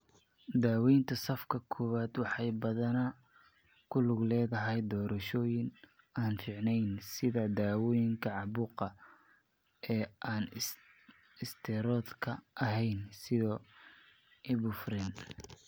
Daawaynta safka kowaad waxay badanaa ku lug leedahay doorashooyin aan fiicneyn sida dawooyinka caabuqa ee aan isteeroodhka ahayn sida Ibuprofen.